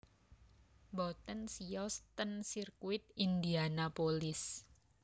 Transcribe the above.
Mboten siyos ten sirkuit Indianapolis